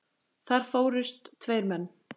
Þar fórust tveir menn.